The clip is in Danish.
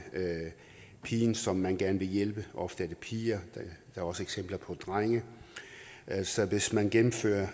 pigen som man gerne vil hjælpe det ofte piger men der er også eksempler på drenge altså hvis man gennemfører